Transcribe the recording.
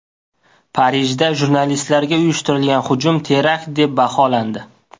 Parijda jurnalistlarga uyushtirilgan hujum terakt deb baholandi.